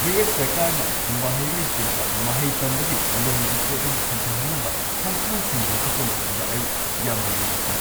U. S. ꯁꯔꯀꯥꯔꯅ ꯃꯍꯩꯔꯣꯏꯁꯤꯡꯗ ꯃꯍꯩ ꯇꯝꯕꯒꯤ ꯂꯣꯟꯒꯤ ꯄꯣꯠꯂꯨꯝ ꯍꯟꯊꯍꯟꯅꯕ ꯈꯣꯡꯊꯥꯡꯁꯤꯡ ꯂꯧꯈꯠꯄ ꯃꯇꯝꯗ ꯑꯩ ꯌꯥꯝꯅ ꯅꯨꯡꯉꯥꯏꯈꯤ꯫